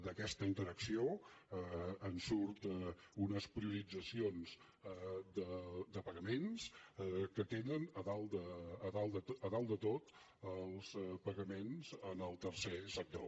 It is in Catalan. d’aquesta interacció en surten unes prioritzacions de pagaments que tenen a dalt de tot els pagaments al tercer sector